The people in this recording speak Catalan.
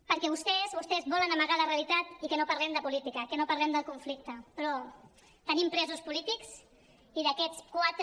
perquè vostès volen amagar la realitat i que no parlem de política que no parlem del conflicte però tenim presos polítics i d’aquests quatre